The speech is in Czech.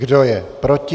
Kdo je proti?